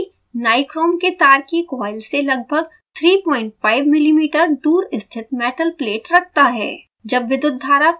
heater assembly nichrome के तार की कॉइल से लगभग 35 mm दूर स्थित मेटल प्लेट रखता है